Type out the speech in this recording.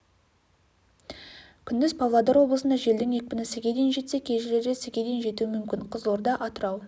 күндіз павлодар облысында желдің екпіні с-ге дейін жетсе кей жерлерде с-ге дейін жетуі мүмкін қызылорда атырау